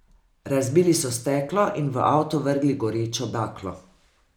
Razbili so steklo in v avto vrgli gorečo baklo.